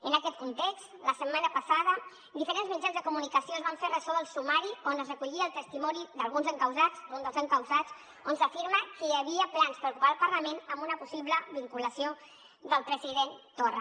en aquest context la setmana passada diferents mitjans de comunicació es van fer ressò del sumari on es recollia el testimoni d’alguns encausats d’un dels encausats on s’afirma que hi havia plans per ocupar el parlament amb una possible vinculació del president torra